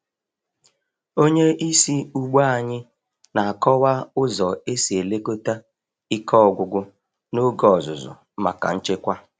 Onye isi ugbo anyị na-akọwa ụzọ esi elekọta ike ọgwụgwụ n’oge ọzụzụ maka nchekwa.